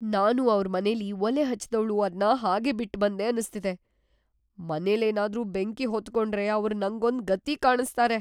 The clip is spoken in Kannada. ನಾನು ಅವ್ರ್‌ ಮನೆಲಿ ಒಲೆ ಹಚ್ಚಿದ್ದವ್ಳು ಅದ್ನ ಹಾಗೇ ಬಿಟ್ಬಂದೆ ಅನ್ಸ್ತಿದೆ. ಮನೆಲೇನಾದ್ರೂ ಬೆಂಕಿ ಹೊತ್ಕೊಂಡ್ರೆ ಅವ್ರ್‌ ನಂಗೊಂದ್‌ ಗತಿ ಕಾಣಿಸ್ತಾರೆ.